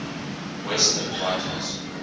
western writers